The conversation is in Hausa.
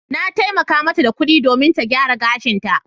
Na taimaka mata da kuɗi domin ta gyara gashinta.